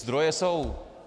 Zdroje jsou.